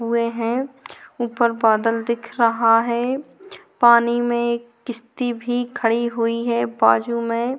हुहे है ऊपर बदल दिख रहा है पानी में किस्ती भी खड़े हुए है बाजू में--